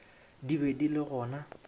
di be di le gona